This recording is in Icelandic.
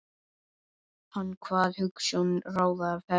Hann kvað hugsjón ráða ferð.